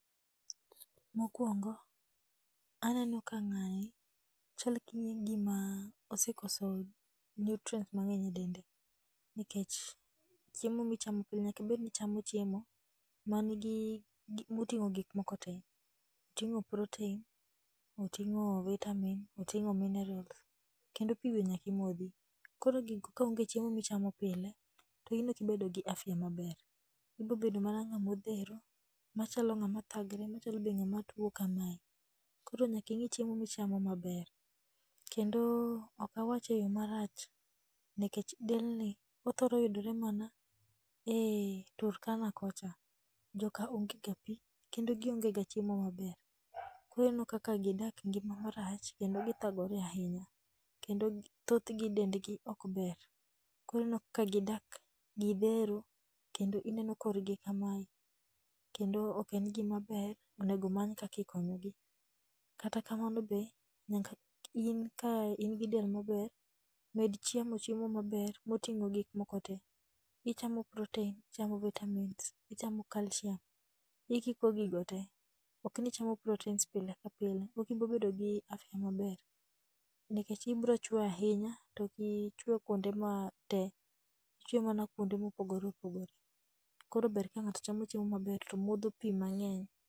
Mokwongo, aneno ka ng'ani chal ka gima osekoso nutrients mang'eny e dende. Nikech chiemo michamo pile nyakibed nichamo chiemo moting'o gik moko te. Oting'o protein, oting'o vitamin, oting'o minerals. Kendo pi be nyakimodhi, koro gigo ka onge e chiemo michamo pile, to in okibedo gi afya maber. Ibro bedo mana ng'amodhero, machalo ng'ama thagre machalo be ng'ama tuo kamae. Koro nyaking'i chiemo michamo maber, kendo okawache e yo marach, nekech del ni othoro yudore mana e Turkana kocha. Joka onge ga pi, kendo gionge ga chiemo maber. Koro ineno ka gidak ngima marach kendo githagore ahinya. Kendo thothgi dendgi ok ber, korineno ka gidak gidhero, inmeno korgi kamae. Kendo ok en gima ber, onego omany kakikonyogi. Kata kamano be, nyaka in ka in gi del maber, med chamo chiemo maber moting'o gik moko te. Ichamo protenis, ichamo vitamins, ichamo calcium. Ikiko gigo te, okni ichamo proteins pile ka pile. Okibobedo gi afya maber, nikech ibro chwe ahinya, toki chweyo kuonde te, ichwe mana kuonde mopogore opogore. Koro ber ka ng'ato chamo chiemo maber to modho pi maber.